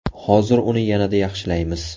Hozir uni yanada yaxshilaymiz!